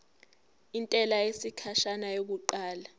intela yesikhashana yokuqala